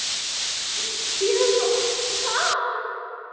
Ég var sár.